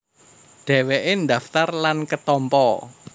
Dhèwèké ndhaftar lan ketampa